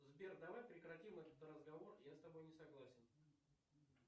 сбер давай прекратим этот разговор я с тобой не согласен